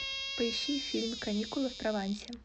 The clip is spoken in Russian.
поищи фильм каникулы в провансе